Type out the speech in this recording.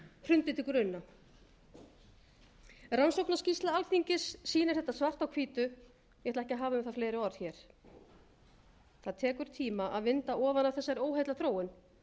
hrundi til grunna rannsóknarskýrsla alþingis sýnir þetta svart á hvítu ég ætla ekki að hafa um það fleiri orð hér það tekur tíma að vinda ofan af þessari óheillaþróun